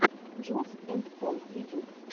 джулз энд пол ютюб